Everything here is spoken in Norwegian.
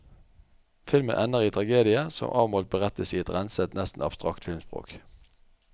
Filmen ender i tragedie som avmålt berettes i et renset, nesten abstrakt filmspråk.